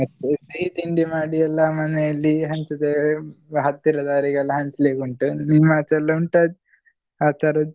ಮತ್ತೆ ಸಿಹಿ ತಿಂಡಿ ಮಾಡಿ ಎಲ್ಲ ಮನೇಲಿ ಹಂಚುದು ಹತ್ತಿರದವರಿಗೆಲ್ಲಾ ಹಂಚ್ಲಿಕ್ಕೆ ಉಂಟು ನಿಮ್ಮ ಆಚೆ ಎಲ್ಲ ಉಂಟಾ ಆತರದ್ದ್?